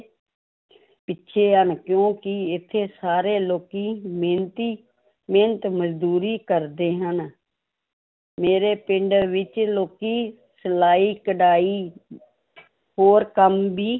ਪਿੱਛੇ ਹਨ, ਕਿਉਂਕਿ ਇੱਥੇ ਸਾਰੇ ਲੋਕੀ ਮਿਹਨਤੀ ਮਿਹਨਤ ਮਜ਼ਦੂਰੀ ਕਰਦੇ ਹਨ ਮੇਰੇ ਪਿੰਡ ਵਿੱਚ ਲੋਕੀ ਸਲਾਈ ਕਢਾਈ ਹੋਰ ਕੰਮ ਵੀ